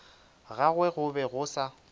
gagwe go be go sa